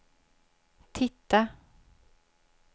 titta